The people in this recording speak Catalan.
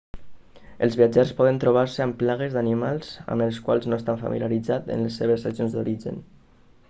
el viatgers poden trobar-se amb plagues d'animals amb els quals no estan familiaritzats en les seves regions d'origen